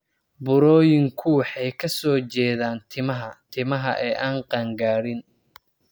Burooyinku waxay ka soo jeedaan timaha timaha ee aan qaan-gaarin.